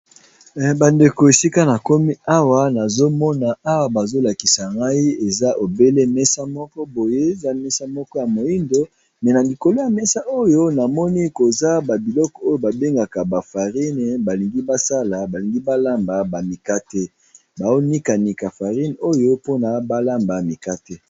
Bandeko esika nakomi awa nazomona awa bazo lakisa ngai eza obele mesa moko boye eza mesa ya moindo mais nalikolo ya mesa oyo namoni babiloko oyo babengaka farine balingi balamba bamikate